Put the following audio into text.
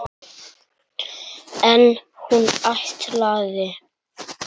En hún ætlaði!